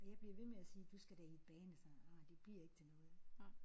Og jeg blev ved med at sige du skal da i et band og sådan ej det bliver ikke til noget